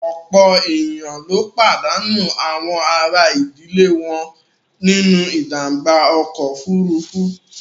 Ọ̀pọ̀ èèyàn ló pàdánù àwọn àrà ìdílé wọn nínú ìjàǹbá ọkọ̀ òfuurufú